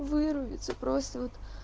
вырубиться просто вот